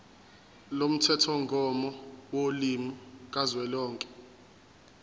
lomthethomgomo wolimi kazwelonke